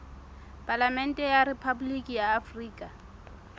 palamente ya rephaboliki ya afrika